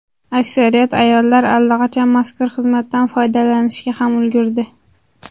Aksariyat ayollar allaqachon mazkur xizmatdan foydalanishga ham ulgurdi.